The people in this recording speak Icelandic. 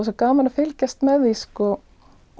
svo gaman að fylgjast með því